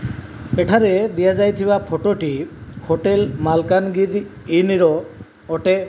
ଏଠାରେ ଦିଅ ଯାଇଥିବା ଫଟୋ ଟି ହୋଟେଲ୍ ମାଲକାନଗିରି ଇନ ର ଅଟେ।